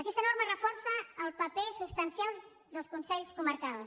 aquesta norma reforça el paper substancial dels consells comarcals